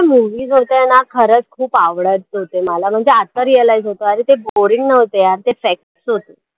movies होते ना खरचं खूप आवडायचे होते मला म्हणजे आता realize होतं अरे ते boring नव्हते यार ते facts होते.